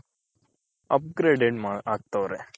upgrade ಆಗ್ತವ್ರೆ